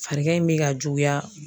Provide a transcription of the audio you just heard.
Farigan in bɛ ka juguya.